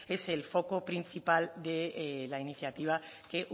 es el foco principal de la iniciativa que